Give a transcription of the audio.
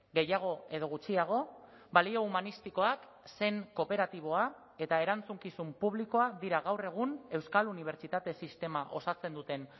gehiago edo gutxiago balio humanistikoak sen kooperatiboa eta erantzukizun publikoa dira gaur egun euskal unibertsitate sistema osatzen duten